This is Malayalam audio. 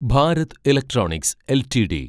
Bharat electronics LTD